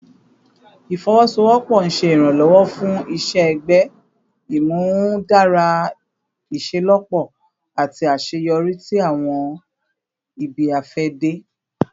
Ifowosowopo n ṣe iranlọwọ fun iṣẹ-ẹgbẹ, imudara iṣelọpọ ati aṣeyọri ti awọn ibi-afẹde